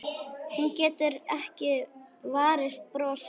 Hún getur ekki varist brosi.